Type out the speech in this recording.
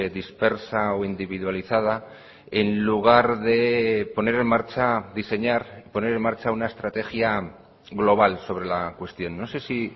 dispersa o individualizada en lugar deponer en marcha diseñar poner en marcha una estrategia global sobre la cuestión no sé si